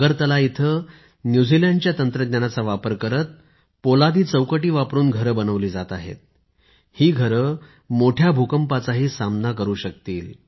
अगरतला इथे न्यूझीलैंड च्या तंत्रज्ञानाचा वापर करत पोलादी चौकटी वापरुन घरे बनवली जात आहेत ही घरे मोठ्या भूकंपाचाही सामना करु शकतील